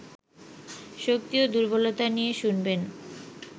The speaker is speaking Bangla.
শক্তি ও দুর্বলতা নিয়ে শুনবেন